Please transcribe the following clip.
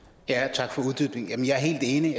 tak for uddybningen jeg er helt enig